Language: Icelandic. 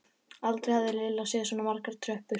Aldrei hafði Lilla séð svona margar tröppur.